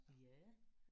Ja